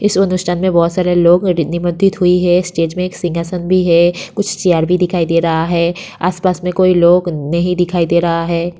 इस में बहुत सारे लोग और हुई है। स्टेज में एक सिंहासन भी है। कुछ सियार भी दिखाई दे रहा है। आस पास में कोई लोग नहीं दिखाई दे रहा है।